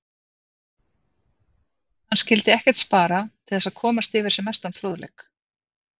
Hann skyldi ekkert spara til þess að komast yfir sem mestan fróðleik.